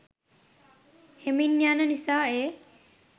හෙමින් යන නිසා ඒ